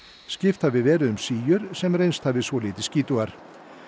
skipt hafi verið um síur sem reynst hafi svolítið skítugar